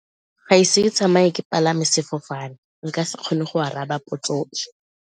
Ga ise ke tsamaye ke palame sefofane nka se kgone go araba potso e.